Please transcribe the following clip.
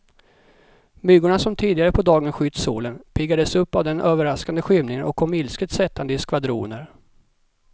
Myggorna som tidigare på dagen skytt solen, piggades upp av den överraskande skymningen och kom ilsket sättande i skvadroner.